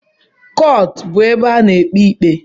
Kọọtụ bu ebe a na-ekpe ikpe